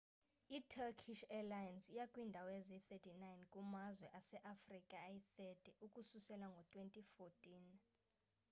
i-turkish airlines iya kwiindawo eziyi-39 kumazwe aseafrika ayi-30 ukususela ngo-2014